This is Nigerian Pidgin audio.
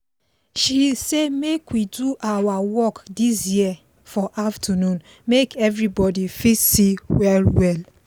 she say make we do our work this year for afternoon make everybody fit see well well